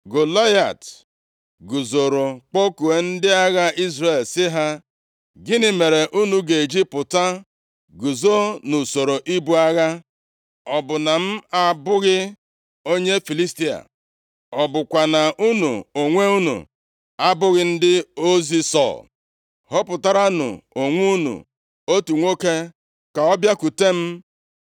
Golaịat guzoro kpọkuo ndị agha Izrel sị ha, “Gịnị mere unu ga-eji pụta guzo nʼusoro ibu agha. Ọ bụ na m abụghị onye Filistia? Ọ bụkwa na unu onwe unu abụghị ndị ozi Sọl? Họpụtaranụ onwe unu otu nwoke, ka ọ bịakwute m.